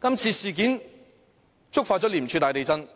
這次事件觸發廉署大地震，